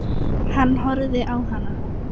Hann horfði á hana.